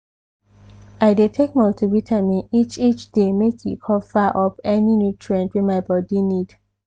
i dey take multivitamin each each day make e cover up any nutrient wey my body need